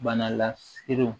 Bana laserew